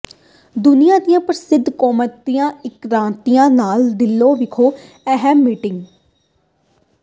ਦੁਨੀਆਂ ਦੀਆਂ ਪ੍ਰਮੁੱਖ ਕੌਮਾਂਤਰੀ ਏਅਰਲਾਈਨਾਂ ਨਾਲ ਦਿੱਲੀ ਵਿਖੇ ਅਹਿਮ ਮੀਟਿੰਗ